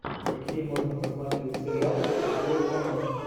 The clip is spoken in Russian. какие можно посмотреть сериал счастливый конец